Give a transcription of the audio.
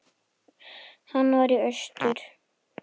Hann var í austur.